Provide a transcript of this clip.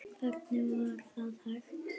Hvernig var það hægt?